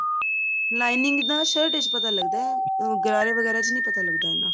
lining ਦਾ shirt ਵਿੱਚ ਪਤਾ ਲੱਗਦਾ ਗਰਾਰੇ ਵਗੈਰਾ ਚ ਨੀ ਪਤਾ ਲੱਗਦਾ ਇੰਨਾ